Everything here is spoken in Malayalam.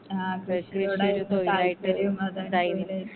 ആ കൃഷി അതാണ് തൊഴില്.